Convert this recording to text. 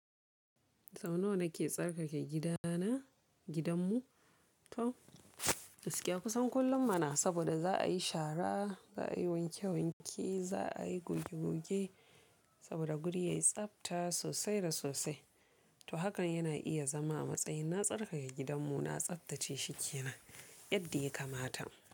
Sau nawa na ke tsarkake gida na, gidan mu to, gakiya kusan kullum muna saboda za a yi shara, za a yi wanke wanke, za a yi goge goge saboda guri ya yi tsabta sosai da sosai. To hakan yana iya zama a matsayin na tsarkake gidan mu, na tsabtace shi ke nan yadda ya kamata.